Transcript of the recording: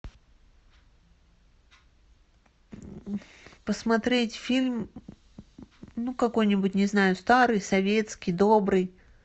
посмотреть фильм ну какой нибудь не знаю старый советский добрый